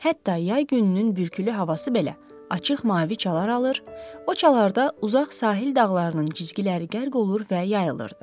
Hətta yay gününün bürkülü havası belə açıq mavi çalar alır, o çalarda uzaq sahil dağlarının cizgiləri qərq olur və yayılırdı.